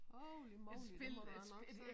Holy moly det må du da nok sige